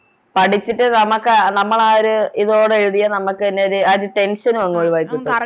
പഠിച്ചിട്ട് നമക്ക് നമ്മളാ ഒര് ഇതോടെ എഴുതിയ നാമക്കന്നെ ഒര് ആ ഒരു Tension നും അങ് ഒഴിവായി കിട്ടും